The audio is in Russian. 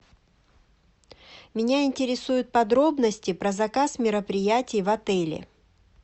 меня интересуют подробности про заказ мероприятий в отеле